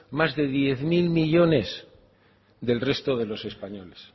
más de diez mil millónes del resto de los españoles